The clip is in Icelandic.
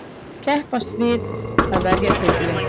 Keppast við að verja titilinn.